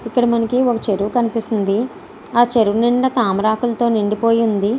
ఇక్కడ మనకి ఒక చెరువు కనిపిస్తుంది ఆ చెరువులో తామరాకులతో నిండిపోయి ఉంది.